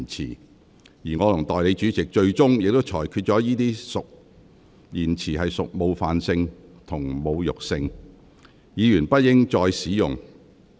最終，我和代理主席裁定這些言詞屬冒犯性及侮辱性，議員不應再次使用。